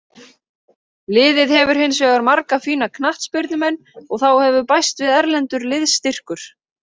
Liðið hefur hinsvegar marga fína knattspyrnumenn og þá hefur bæst við erlendur liðsstyrkur.